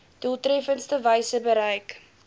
doeltreffendste wyse bereik